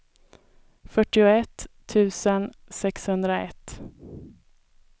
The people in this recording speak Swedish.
fyrtioett tusen sexhundraett